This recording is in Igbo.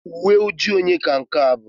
Uwe ojii onye ka nke a bụ?